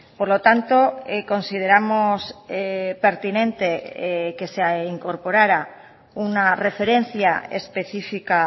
por lo tanto consideramos pertinente que se incorporara una referencia específica